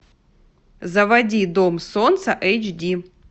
заводи дом солнца эйч ди